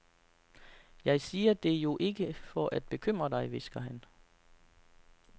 Jeg siger det jo ikke for at bekymre dig, hvisker han.